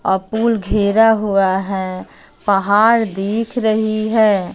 और पूल घेरा हुआ है पहाड़ दिख रही हैं।